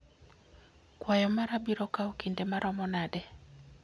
kwayo mara biro kawo kinde maromo nade